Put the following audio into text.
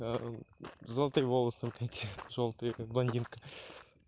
золотые волосы эти жёлтые как блондинка